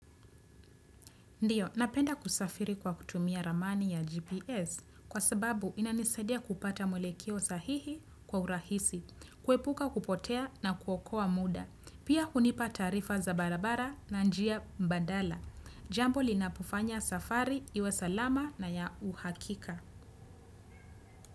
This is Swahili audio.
Ndiyo, napenda kusafiri kwa kutumia ramani ya GPS kwa sababu inanisadia kupata mwelekeo sahihi kwa urahisi, kuepuka kupotea na kuokoa muda, pia hunipa taarifa za barabara na njia mbandala. Jambo linapofanya safari, iwe salama na ya uhakika.